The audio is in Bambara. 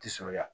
Ti sɔn ya